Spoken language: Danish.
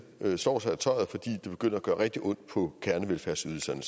slår sig i tøjret fordi det begynder at gøre rigtig ondt på kernevelfærdsydelserne